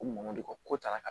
Ko mun de ko ko tarakalan